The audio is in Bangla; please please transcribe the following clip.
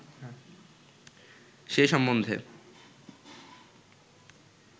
সে সম্বন্ধে